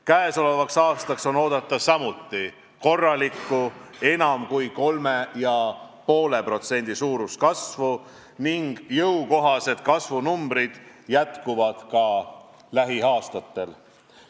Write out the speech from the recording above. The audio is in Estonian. Käesolevaks aastaks on oodata samuti korralikku, enam kui 3,5% suurust kasvu ning jõukohased kasvunumbrid jätkuvad ka lähiaastatel.